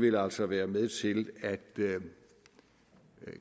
vil altså være med til at